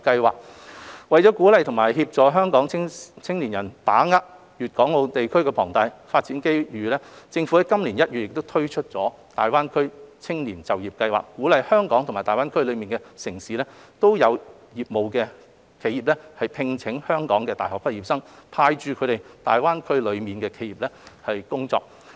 為鼓勵及協助香港青年人把握粵港澳大灣區龐大的發展機遇，政府於今年1月推出大灣區青年就業計劃，鼓勵在香港及大灣區內地城市均有業務的企業，聘請香港的大學畢業生，派駐他們到大灣區內的企業工作。